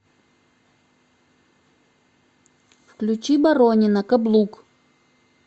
включи боронина каблук